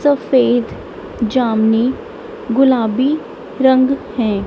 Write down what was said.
सफेद जामनी गुलाबी रंग है।